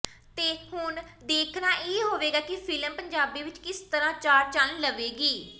ਤੇ ਹੁਣ ਦੇਖਣਾ ਇਹ ਹੋਵੇਗਾ ਕਿ ਫ਼ਿਲਮ ਪੰਜਾਬੀ ਵਿਚ ਕਿਸ ਤਰਾਂ ਚਾਰ ਚੰਨ ਲਾਵੇਗੀ